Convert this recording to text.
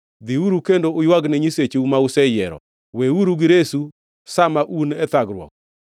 Dhiuru kendo uywagne nyisecheu ma useyiero. Weuru giresu sa ma un e thagruok!”